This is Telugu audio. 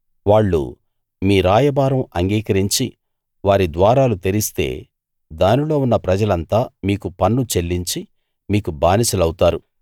వాళ్ళు మీ రాయబారం అంగీకరించి వారి ద్వారాలు తెరిస్తే దానిలో ఉన్న ప్రజలంతా మీకు పన్ను చెల్లించి మీకు బానిసలవుతారు